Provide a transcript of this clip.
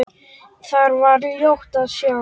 Þar var ljótt að sjá.